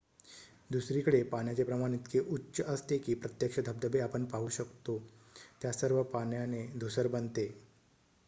दुसरीकडे पाण्याचे प्रमाण इतके उच्च असते की प्रत्यक्ष धबधबे आपण पाहू शकतो-त्या सर्व पाण्याने धूसर बनते